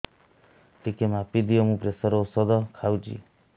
ଟିକେ ମାପିଦିଅ ମୁଁ ପ୍ରେସର ଔଷଧ ଖାଉଚି